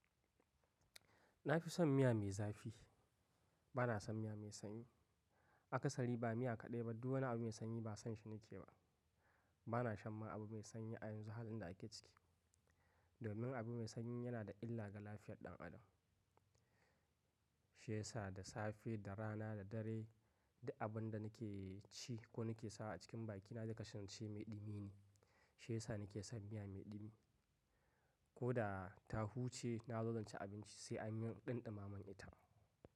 Na fi son miya mai zafi. Bana son miya mai sanyi. Akasari ba miya kaɗai ba, duk wani abu mai sanyi ba son shi nake yi ba. Bana shan ma abu mai sanyi a yanzu halin da ake ciki. Domin abu mai sanyi yana da illa ga lafiyar ɗan Adam. Shi yasa da safe, da rana, da dare, duk abin da nake ci ko nake sa a cikin bakina, zai kasance mai ɗumi ne. Shi yasa nake son miya mai ɗumi. Ko da ta huce na zo zan ci abinci sai an yi ɗan ɗumama min ita.